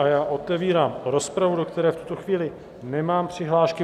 A já otevírám rozpravu, do které v tuto chvíli nemám přihlášky.